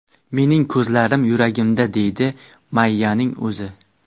Mening ko‘zlarim yuragimda”, deydi Mayyaning o‘zi.